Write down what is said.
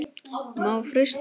Má frysta.